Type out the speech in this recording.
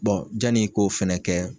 Bɔn jani ko fɛnɛ kɛ